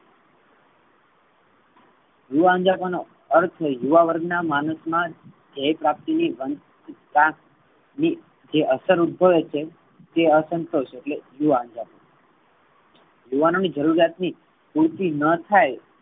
યુવા અન્જાપા નો અર્થ છે. યુવા વર્ગ ના માણસો નો ધેય પ્રાપ્તિ ન ભાગ મા જે અસર ઉદભયો છે. તે અસંતોષ એટલે યુવા અંજની યુવાનો ની જરૂરિયાત ની પૂર્તિ ન થાઈ.